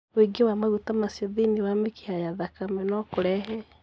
Wĩingĩ wa maguta macio thĩinĩ wa mĩkiha ya thakame no kũrehe